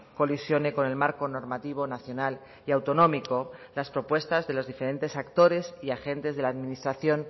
colisione con el marco normativo nacional y autonómico las propuestas de los diferentes actores y agentes de la administración